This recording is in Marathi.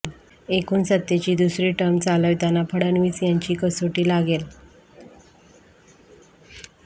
एकूण सत्तेची दुसरी टर्म चालविताना फडणवीस यांची कसोटी लागेल